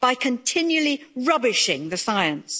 by continually rubbishing the science.